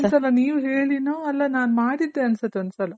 ಒಂದ್ ಸಲ ನೀವ್ ಹೇಳಿನೋ ಅಲ್ಲ ನಾನ್ ಮಾಡಿದ್ದೆ ಅನ್ಸುತ್ ಒಂದ್ ಸಲ